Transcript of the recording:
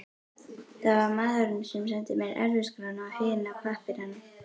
Það var maðurinn sem sendi mér erfðaskrána og hina pappírana.